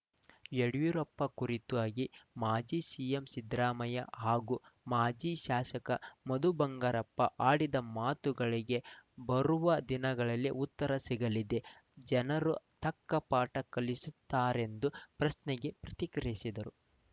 ಯಡಿಯೂರಪ್ಪ ಕುರಿತಾಗಿ ಮಾಜಿ ಸಿಎಂ ಸಿದ್ದರಾಮಯ್ಯ ಹಾಗೂ ಮಾಜಿ ಶಾಸಕ ಮಧುಬಂಗಾರಪ್ಪ ಆಡಿದ ಮಾತುಗಳಿಗೆ ಬರುವ ದಿನಗಳಲ್ಲಿ ಉತ್ತರ ಸಿಗಲಿದೆ ಜನರು ತಕ್ಕ ಪಾಠ ಕಲಿಸುತ್ತಾರೆಂದು ಪ್ರಶ್ನೆಗೆ ಪ್ರತಿಕ್ರಿಯಿಸಿದರು